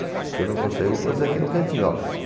Se eu não for sair, vou fazer aqui no cantinho, ó.